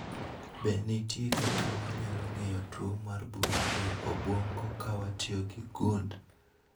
Be nitie kaka wanyalo ng'iyo tuo mar bur e obwongo kawatio gi gund